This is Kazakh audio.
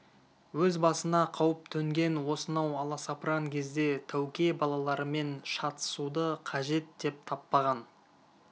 өз басына қауіп төнген осынау аласапыран кезде тәуке балаларымен шатысуды қажет деп таппаған